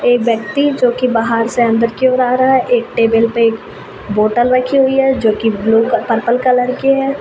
एक व्यक्ति जोकि बहार से अंदर की ओर आ रहा है। एक टेबल पे एक बोतल रखी हुई है जोकि ब्लू पर्पल कलर की है।